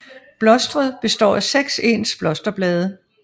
Blostret består af 6 ens blosterblade